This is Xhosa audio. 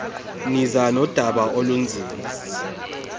niza nodaba olunzima